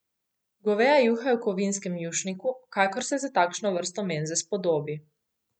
Goveja juha je v kovinskem jušniku, kakor se za takšno vrsto menze spodobi.